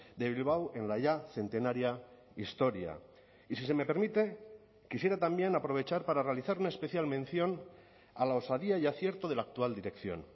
de bilbao en la ya centenaria historia y si se me permite quisiera también aprovechar para realizar una especial mención a la osadía y acierto de la actual dirección